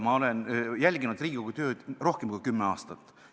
Ma olen jälginud Riigikogu tööd rohkem kui kümme aastat.